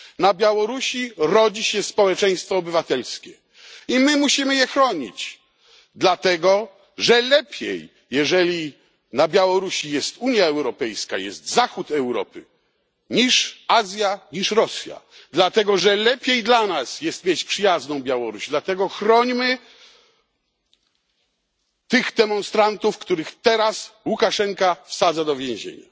Na Białorusi rodzi się społeczeństwo obywatelskie i my musimy je chronić, dlatego że lepiej, jeżeli na Białorusi jest Unia Europejska, jest zachód Europy niż Azja, niż Rosja, dlatego że lepiej dla nas jest mieć przyjazną Białoruś. Dlatego chrońmy tych demonstrantów, których teraz Łukaszenka wsadza do więzienia.